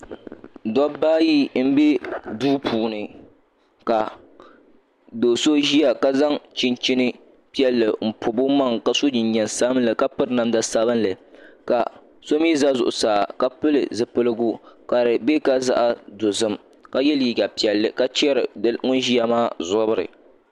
Dabba ayi n bɛ duu puuni ka do so ʒiya ka zaŋ chunchin piɛlli n pobi o maŋa ka so jinjɛm sabinli ka piri namda sabinli ka so mii ʒɛ zuɣusaa ka pili zipiligu ka di bɛ ka zaɣ dozim ka yɛ liiga piɛlli ka chɛri ŋun ʒiya maa zabiri